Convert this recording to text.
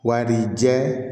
Wa ni jɛ